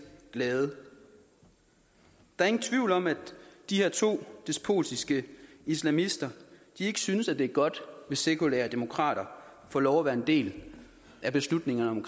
glade der er ingen tvivl om at de her to despotiske islamister ikke synes det er godt hvis sekulære demokrater får lov til at være en del af beslutningerne om